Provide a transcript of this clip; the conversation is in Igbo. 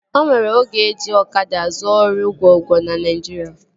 O nwere oge eji ọkada zuo ori gwo gwo na Naijiria